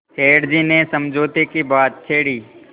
सेठ जी ने समझौते की बात छेड़ी